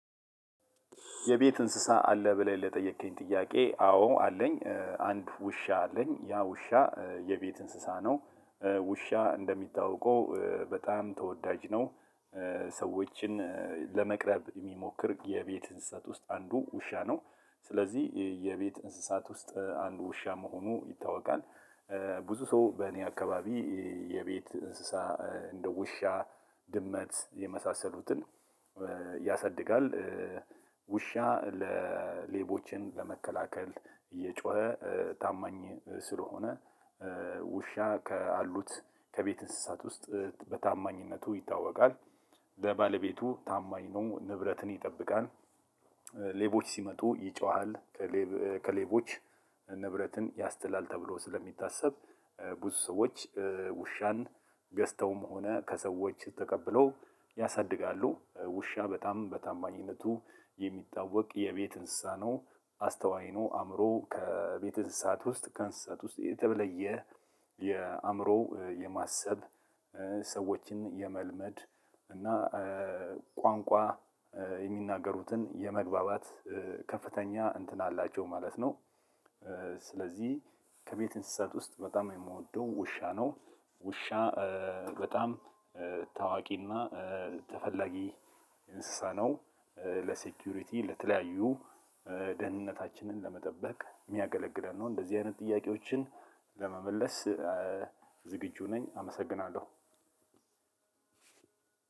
የቤት እንስሳት አለህ ብለህ ለጠየከኝ ጥያቄ? አዎ አለኝ አንድ ውሻ አለኝ ያ ውሻ የቤት እንስሳት ነው ውሻ እንደሚታወቀው በጣም ተወዳጅ ነው። ሰዎችን ለመቅረብ የሚሞክር የቤት እንስሳት ውስጥ አንዱ ውሻ ነው ስለዚህ የቤት እንስሳት ውስጥ አንዱ ውሻ መሆኑ ይታወቃል። ብዙ ሰው በእኔ አካባቢ የቤት እንስሳ እንደ ውሻ ድመት የመሳሰሉትን ያሳድጋል። ውሻ ሌቦችን ለመከላከል እየጮኸ ታማኝ ስለሆነ ውሻ ካሉት ከቤት እንስሳት ውስጥ በታማኝነቱ ይታወቃል። ለባለቤቱ ታማኝ ነው ንብረትን ይጠብቃል። ሌቦች ሲመጡ ይጮሃል። ከሌቦች ንብረትን ያስጥላል ተብሎ ስለሚታሰብ ብዙ ሰዎች ውሻን ገዝተውም ሆነ ከሰዎች ተቀብለው ያሳድጋሉ። ውሻ በጣም በታማኝነቱ የሚታወቅ የቤት እንስሳት ነው። አስተዋይ ነው አእምሮው ከቤት እንስሳት ውስጥ ከእንስሳት ውስጥ የተለየ የአእምሮው የማሰብ ሰዎችን የመልመድ እና ቋንቋ የሚናገሩትን የመግባባት ከፍተኛ እንትን አላቸው ማለት ነው። ስለዚህ ከቤት እንስሳት ውስጥ በጣም የምወደው ውሻ ነው። ውሻ በጣም ታዋቂና ተፈላጊ እንስሳት ነው። ለሴኩሪቲ ለተለያዩ ደህንነታችንን ለመጠበቅ የሚያገለግለን ነው። እንደዚህ አይነት ጥያቄዎችን ለመመለስ ዝግጁ ነኝ አመሰግናለሁ።